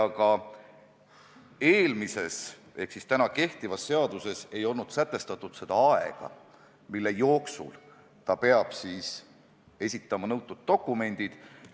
Aga eelmises ehk siis kehtivas seaduses ei olnud sätestatud seda aega, mille jooksul ta peab esitama nõutud dokumendid.